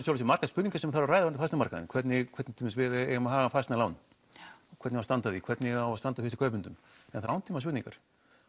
séu margar spurningar sem þarf að ræða um fasteignamarkaðinn hvernig hvernig til dæmis við eigum að hafa fasteignalán hvernig á að standa að því hvernig á að standa að fyrstu kaupendum þetta eru langtíma spurningar